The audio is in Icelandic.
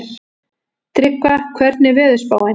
Tryggva, hvernig er veðurspáin?